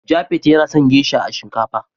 " Japheth yana son " geisha" a shinkafa.